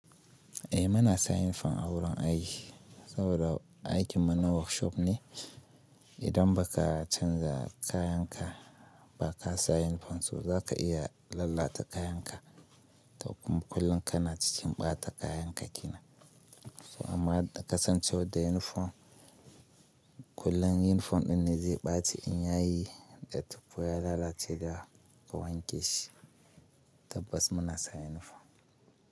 Eh muna sa unifom a wurin aiki saboda aikinmu na workshop ne. Idan ba ka canza kayanka ba ka sa unifom, so za ka iya lalata kayanka. To kuma kullum kana cikin ɓata kayanka kenan. So amma da ka canza da yunifom, kullum yunifom ɗin ne zai ɓaci in yayi da to ko ya lalace da ka wanke shi. Tabbas muna sa yunifom.